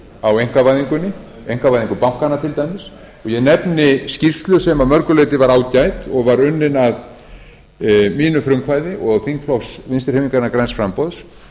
á einkavæðingunni einkavæðingu bankanna til dæmis ég nefni skýrslu sem að mörgu leyti var ágæt og var unnin af mínu frumkvæði og þingflokks vinstri hreyfingarinnar græns framboðs